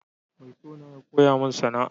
Mai sona ya koya min sana'a.